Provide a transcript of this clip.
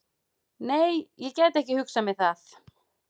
Nei, ég gæti ekki hugsað mér það.